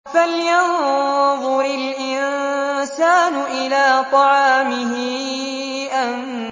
فَلْيَنظُرِ الْإِنسَانُ إِلَىٰ طَعَامِهِ